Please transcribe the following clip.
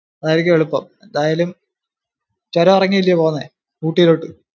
അതായിരിക്കും എളുപ്പം. എന്തായാലും ചുരം ഇറങ്ങിയല്ലിയോ പോന്നെ? ഊട്ടീലോട്ടു?